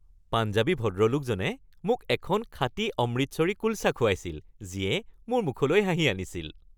পাঞ্জাৱী ভদ্ৰলোকজনে মোক এখন খাঁটি অমৃতসৰী কুলচা খোৱাইছিল যিয়ে মোৰ মুখলৈ হাঁহি আনিছিল।